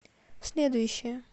следующая